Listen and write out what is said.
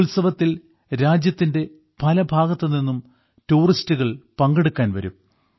ഈ ഉത്സവത്തിൽ രാജ്യത്തിന്റെ പല ഭാഗത്തുനിന്നും ടൂറിസ്റ്റുകൾ പങ്കെടുക്കാൻ വരും